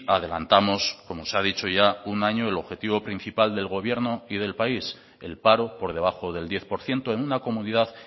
adelantamos como se ha dicho ya un año el objetivo principal del gobierno y del país el paro por debajo del diez por ciento en una comunidad